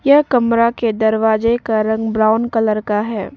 यह कमरा के दरवाजे का रंग ब्राउन कलर का है।